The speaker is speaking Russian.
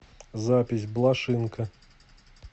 запись блошинка